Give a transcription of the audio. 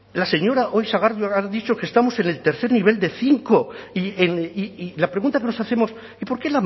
la señora sagardui hoy ha dicho que estamos en el tercer nivel de cinco y la pregunta que nos hacemos y por qué